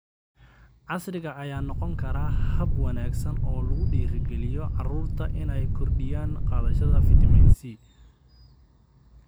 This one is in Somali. Casiirka ayaa noqon kara hab wanaagsan oo lagu dhiirigaliyo carruurta inay kordhiyaan qaadashada fitamiin C,